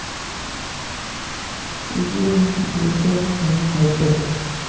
माऊलींचा पालखी रथ झाला हायटेक